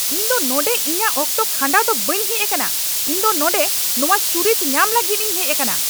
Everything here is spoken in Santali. ᱤᱧ ᱫᱚ ᱱᱚᱸᱰᱮ ᱤᱧᱟᱹᱜ ᱚᱠᱛᱚ ᱠᱷᱟᱸᱰᱟᱣ ᱫᱚ ᱵᱟᱹᱧ ᱦᱮᱡ ᱟᱠᱟᱱᱟ ! ᱤᱧ ᱫᱚ ᱱᱚᱸᱰᱮ ᱱᱚᱶᱟ ᱪᱩᱨᱤᱛ ᱧᱟᱢ ᱞᱟᱹᱜᱤᱫ ᱤᱧ ᱦᱮᱡ ᱟᱠᱟᱱᱟ ᱾